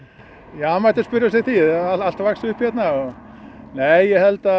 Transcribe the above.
það mætti spyrja sig að því allt vaxið upp hérna nei ég held að